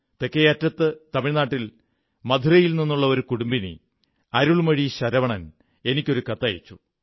തെക്കേയറ്റത്ത് തമിഴ് നാട്ടിൽ മധുരയിൽ നിന്നുള്ള ഒരു കുടുംബിനി അരുൾമോഴി ശരവണൻ എനിക്കൊരു കത്തയച്ചു